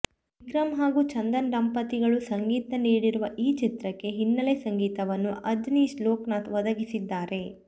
ವಿಕ್ರಮ್ ಹಾಗೂ ಚಂದನ ದಂಪತಿಗಳು ಸಂಗೀತ ನೀಡಿರುವ ಈ ಚಿತ್ರಕ್ಕೆ ಹಿನ್ನಲೆ ಸಂಗೀತವನ್ನು ಅಜನೀಶ್ ಲೋಕನಾಥ್ ಒದಗಿಸಿದ್ದಾರೆ